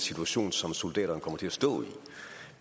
situation som soldaterne kommer til at stå i